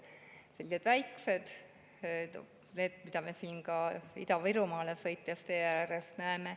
Need on sellised väiksed, need, mida me ka Ida-Virumaale sõites tee ääres näeme.